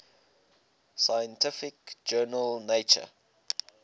scientific journal nature